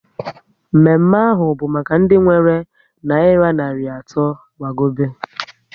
Mme mme ahụ bụ maka ndị nwere nayira narị atọ gbagobe